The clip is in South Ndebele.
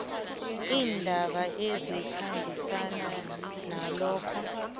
iindaba ezikhambisana nalokho